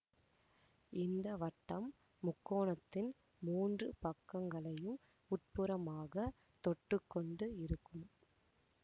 இந்த வட்டம் முக்கோணத்தின் மூன்று பக்கங்களையும் உட்புறமாகத் தொட்டுக்கொண்டு இருக்கும்